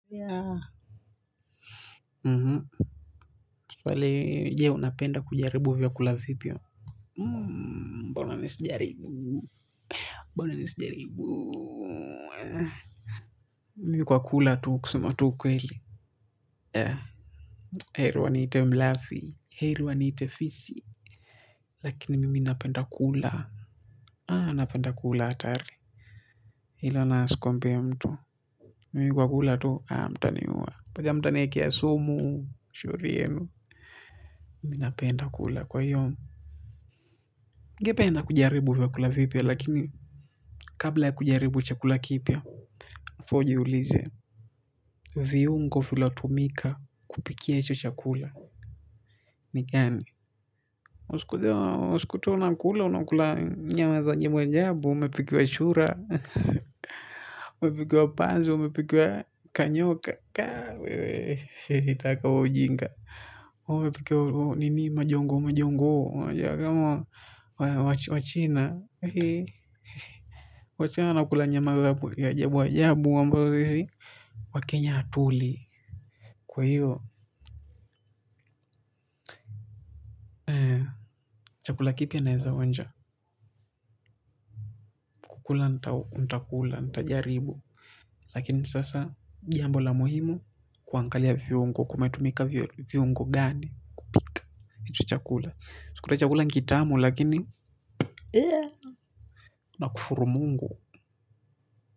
Yaa mhu pale je unapenda kujaribu vyakula vipi wewe mbona mi sijaribu mbona mi isijaribu mimi kwa kula tu kusema tu ukweli yeah heri wa niite mlafi heri wa niite fisi lakini mimi napenda kula aah napenda kula hatari ilo na asikwambie mtu mimi kwa kula tu aah mtaniua paka mtaniwekea sumu shauri yenu mimi napenda kula kwahiyo ningependa kujaribu vyakula vipya lakini kabla ya kujaribu chakula kipya before jiulize. Viungo vilivyo tumika kupikia hicho chakula ni gani. Usikute unakula unakula nyama za ajabuajabu umepikiwa chura. Umepikiwa panzu umepikiwa kanyoka khaa wewe. Siwetaka huo ujinga. Umepikiwa nini majongoo majongoo unajua kama Wachina eheee wachina wana kula nyama ya ajabu ajabu ambayo sisi Wakenya hatuli kwahiyo chakula kipi naweza onja. Kukula nitakula nitajaribu. Lakini sasa jambo la muhimu kuangalia viungo. Kumetumika viungo gani. Kupika hicho chakula usikute chakula ni kitamu lakini nakufuru mungu.